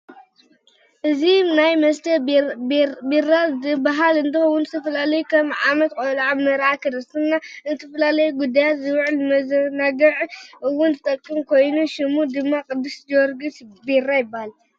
እዚ ናይ መስተ ቤራ ዝባሃል እንትከውን ዝተፈላለዩ ከም ዓመት ቆልዓ ፣መርዓ ፣ክርስትና ንዝተፈላለ ጉዳያት ዝውዕል ንመዛናግ እውን ዝጠቅም ኮይኑ ሽሙ ድማ ቅድስ ጀወርግ ቤራ ይባሃል።